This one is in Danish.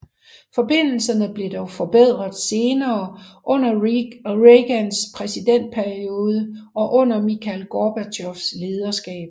Forbindelserne blev dog forbedret senere under Reagans præsidentperiode og under Mikhail Gorbatjovs lederskab